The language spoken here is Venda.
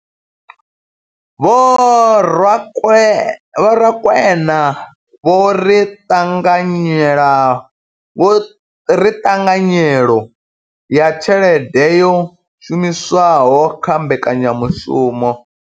Vho Rakwena vho ri ṱanganyelo ya tshelede yo shumiswaho kha mbekanyamushumo.